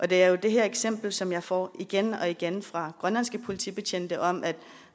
der er jo det her eksempel som jeg får igen og igen fra grønlandske politibetjente om at de